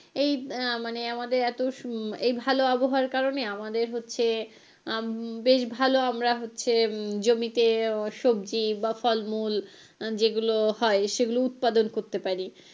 এই মানে আমাদের এই ভালো আবহাওয়ার কারনে আমাদের হচ্ছে উম বেশ ভালো আমরা হচ্ছে উম জমিতে সবজি বা ফল মূল যেগুলো হয় সেগুলো উৎপাদন করতে পারি।